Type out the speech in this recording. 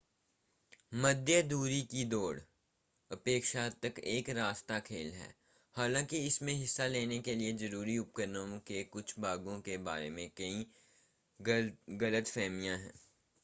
मध्यदूरी की दौड़ अपेक्षाकृत एक सस्ता खेल है हालांकि इसमें हिस्सा लेने के लिए ज़रूरी उपकरणों के कुछ भागों के बारे में कई गलतफ़हमियां हैं